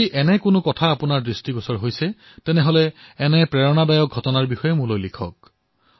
যদি আপুনি এনে ধৰণৰ ঘটনা প্ৰত্যক্ষ কৰিছে তেন্তে নিশ্চয়কৈ মোলৈ লিখক